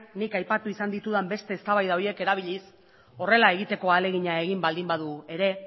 nik aipatu izan ditudan beste eztabaida horiek erabiliz horrela egiteko ahalegina egin baldin badu ere